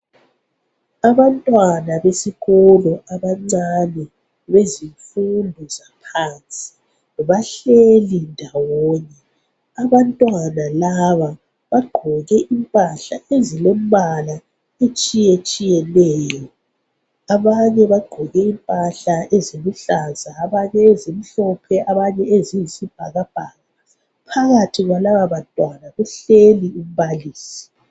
Abantwana besikolo abancane bezifundo zaphansi, bahleli ndawonye. Abantwana laba bagqoke impahla ezilembala etshayetshiyeneyo. Abanye bagqoke impahla eziluhlaza abanye ezimhlophe abanye eziyisi bhakabhaka. Phakathi kwalababantwana kuhleli umbalisi.